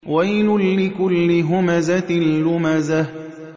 وَيْلٌ لِّكُلِّ هُمَزَةٍ لُّمَزَةٍ